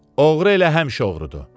Oğru elə həmişə oğrudur.